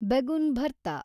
begun ಭರ್ತಾ